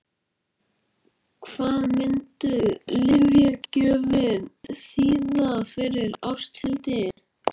Hvað myndi lyfjagjöfin þýða fyrir Ásthildi?